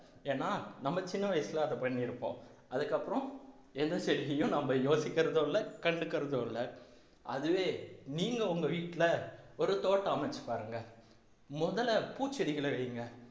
ஏன்னா நம்ம சின்ன வயசுல அதை பண்ணி இருப்போம் அதுக்கப்புறம் எந்த செடியும் நம்ம யோசிக்கிறதும் இல்லை கண்டுக்கிறதும் இல்லை அதுவே நீங்க உங்க வீட்டிலே ஒரு தோட்டம் அமைத்துப் பாருங்க முதல்ல பூச்செடிகளை வைங்க